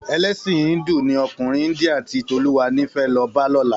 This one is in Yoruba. Èlèsín híndù ni òkúnrín India ti Toluwani fè lò bá lòlá